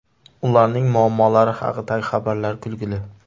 Ularning muammolari haqidagi xabarlar kulgili.